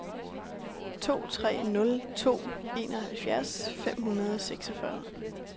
to tre nul to enoghalvfjerds fem hundrede og seksogfyrre